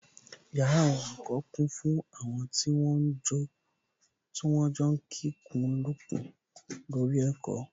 Yàrá àwọn olùkọ́ kún fún àwọn tí wọ́n ń jọ kikùnlukùn lórí ẹ̀kọ́